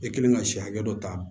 E kɛlen ka si hakɛ dɔ ta